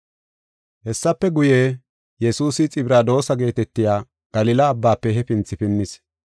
Hessafe guye, Yesuusi Xibradoosa geetetiya Galila Abbaafe hefinthi pinnis.